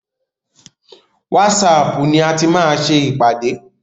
Wásaapù ni a ti máa ṣe ìpàdé.